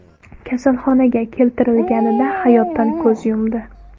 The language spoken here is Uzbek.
kasalxonaga keltirilganida hayotdan ko‘z yumdi.